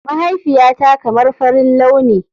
Mahaifiyata kamar farin launi.